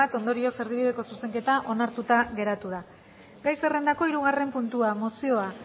ondorioz erdibideko zuzenketa onartuta geratu da gai zerrendako hirugarren puntua mozioa